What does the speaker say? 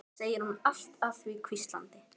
segir hún allt að því hvíslandi.